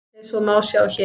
Eins og má sjá hér.